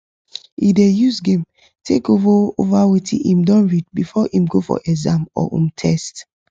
he dey use game take go over wetin him don read before him go for exam or um test